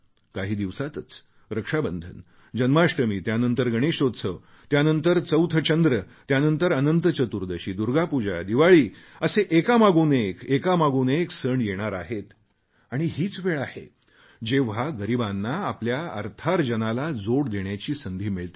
काही दिवसांतच रक्षाबंधन जन्माष्टमी त्यानंतर गणेशोत्सव त्यानंतर चौथ चंद्र त्यानंतर अनंत चतुर्दशी दुर्गा पूजा दिवाळी असे एकामागून एक एकामागून एक सण येणार आहेत आणि हीच वेळ आहे जेव्हा गरीबांना आपल्या अर्थार्जनाला जोड देण्याची संधी मिळते